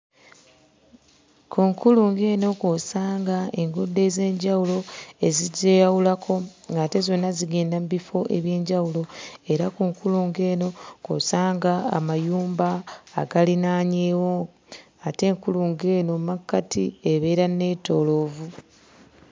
Ku nkulungo eno kw'osanga enguudo ez'enjawulo ezigyeyawulako ng'ate zonna zigenda mu bifo eby'enjawulo. Era ku nkulungo eno kw'osanga amayumba agalinaanyeewo ate enkulungo eno mmakkati ebeera nneetooloovu.